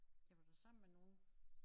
Jeg var da sammen med nogle